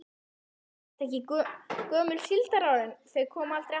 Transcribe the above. Kristján Már: En þessi gömlu síldarár, þau koma aldrei aftur?